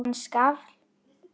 Hann skalf.